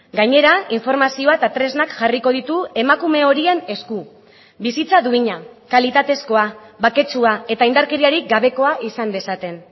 gainera informazioa eta tresnak jarriko ditu emakume horien esku bizitza duina kalitatezkoa baketsua eta indarkeriarik gabekoa izan dezaten